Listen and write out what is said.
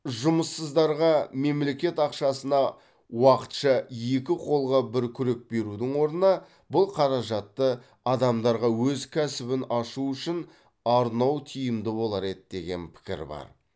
жұмыссыздарға мемлекет ақшасына уақытша екі қолға бір күрек берудің орнына бұл қаражатты адамдарға өз кәсібін ашу үшін арнау тиімді болар еді деген пікір бар